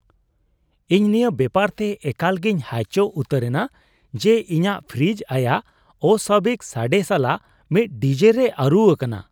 ᱤᱧ ᱱᱤᱭᱟᱹ ᱵᱮᱯᱟᱨ ᱛᱮ ᱮᱠᱟᱞ ᱜᱮᱧ ᱦᱟᱭᱪᱚᱜ ᱩᱛᱟᱹᱨᱮᱱᱟ ᱡᱮ ᱤᱧᱟᱹᱜ ᱯᱷᱨᱤᱡ ᱟᱭᱟᱜ ᱚᱥᱹᱟᱵᱤᱠ ᱥᱟᱵᱮ ᱥᱟᱞᱟᱜ ᱢᱤᱫ ᱰᱤᱡᱮ ᱨᱮᱭ ᱟᱹᱨᱩ ᱟᱠᱟᱱᱟ ᱾